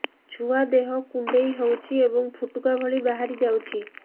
ଛୁଆ ଦେହ କୁଣ୍ଡେଇ ହଉଛି ଏବଂ ଫୁଟୁକା ଭଳି ବାହାରିଯାଉଛି